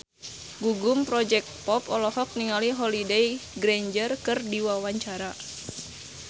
Gugum Project Pop olohok ningali Holliday Grainger keur diwawancara